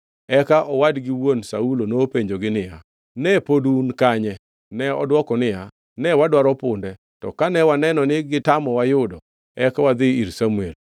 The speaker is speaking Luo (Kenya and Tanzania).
Eka owad gi wuon Saulo nopenjogi niya, “Ne pod un kanye?” Ne odwoko niya, “Ne wadwaro punde, to kane waneno ni gitamowa yudo eka wadhi ir Samuel.”